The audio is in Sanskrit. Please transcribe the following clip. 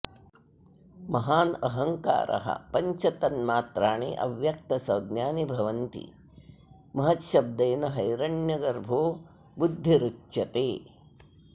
महान् अहंकारः पञ्च तन्मात्राणि अव्यक्तसंज्ञानि भवन्ति महच्छब्देन हैरण्यगर्भो बुद्धिरुच्यते